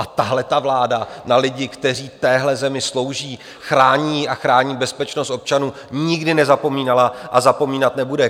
A tahleta vláda na lidi, kteří téhle zemi slouží, chrání ji a chrání bezpečnost občanů, nikdy nezapomínala a zapomínat nebude.